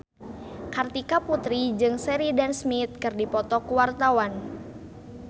Kartika Putri jeung Sheridan Smith keur dipoto ku wartawan